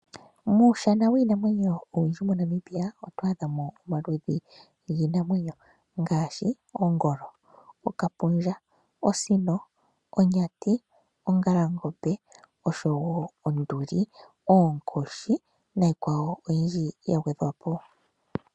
Muushana wiinamwenyo owundji moNamibia oto adha mo omaludhi giinamwenyo ngaashi ongolo, okapundja, osino, onyati, ongalangombe, onduli, oonkoshi niikwawo oyindji ya gwedhwa po.